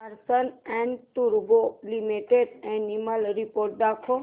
Larsen and टुर्बो limited annual report दाखव